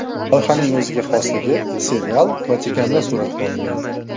Loyihaning o‘ziga xosligi serial Vatikanda suratga olingan.